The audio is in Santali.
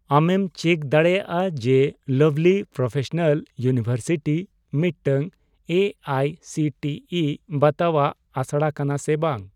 ᱟᱢᱮᱢ ᱪᱮᱠ ᱫᱟᱲᱮᱭᱟᱜᱼᱟ ᱡᱮ ᱞᱟᱵᱷᱞᱤ ᱯᱨᱚᱯᱷᱮᱥᱚᱱᱟᱞ ᱤᱭᱩᱱᱤᱵᱷᱟᱨᱥᱤᱴᱤ ᱢᱤᱫᱴᱟᱝ A I C T E ᱵᱟᱛᱟᱣᱟᱜ ᱟᱥᱲᱟ ᱠᱟᱱᱟ ᱥᱮ ᱵᱟᱝ ?